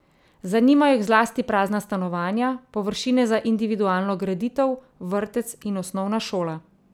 Zanimajo jih zlasti prazna stanovanja, površine za individualno graditev, vrtec in osnovna šola.